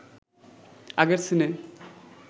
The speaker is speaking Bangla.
আগের সিনে